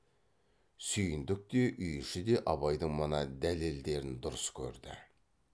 сүйіндік те үй іші де абайдың мына дәлелдерін дұрыс көрді